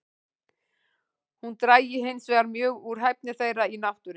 Hún drægi hinsvegar mjög úr hæfni þeirra í náttúrunni.